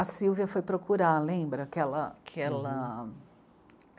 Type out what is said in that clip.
A Sílvia foi procurar, lembra? aquela, aquela...